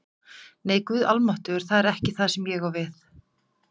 Nei, Guð almáttugur, það er ekki það sem ég á við